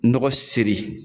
Nɔgɔ seri